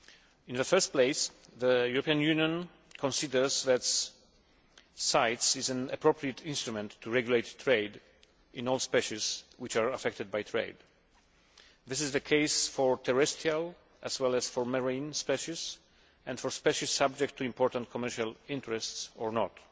In the first place, the European Union considers that CITES is an appropriate instrument to regulate trade in all species which are affected by trade. This is the case for terrestrial as well as for marine species and for species subject to important commercial interests or not.